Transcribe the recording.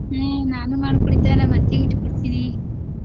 ಹ್ಮ ನಾನು ಮಾಡಿ ಕುಡಿತೇನ ನಮ್ಮ ಅತ್ತಿಗೀಟ ಕೊಡ್ತೀನಿ.